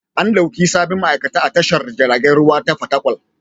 An ɗauki sabbin ma'aikata a tashar jiragen ruwa ta Fatakwal.